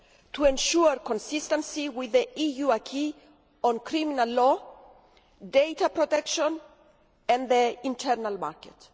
to ensure consistency with the EU acquis on criminal law, data protection and the internal market.